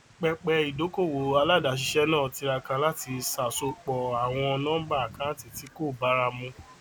pẹpẹ ìdókòwò aládàáṣiṣẹ náà tiraka láti ṣàsọyépọ àwọn nọmbà àkáńtì tí kò báramu